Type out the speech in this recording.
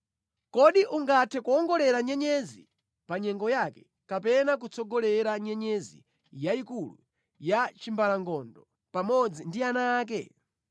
Kodi ungathe kuwongolera nyenyezi pa nyengo yake kapena kutsogolera nyenyezi yayikulu ya chimbalangondo pamodzi ndi ana ake?